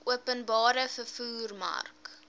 openbare vervoer mark